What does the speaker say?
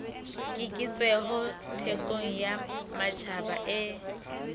keketseho thekong ya matjhaba e